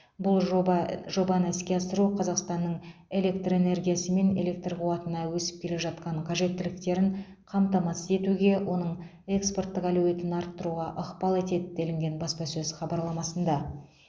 бұл жоба жобаны іске асыру қазақстанның электр энергиясы мен электр қуатына өсіп келе жатқан қажеттіліктерін қамтамасыз етуге оның экспорттық әлеуетін арттыруға ықпал етеді делінген баспасөз хабарламасында